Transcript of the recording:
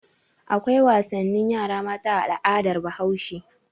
Akwai wasannin yara mata a al'adar Bahaushe.